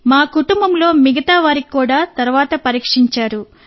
మా కుటుంబంలో మిగతా వారిని కూడా తరువాత పరీక్షించారు